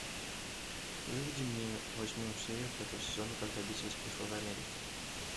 выведи мне восьмую серию пятого сезона как добиться успеха в америке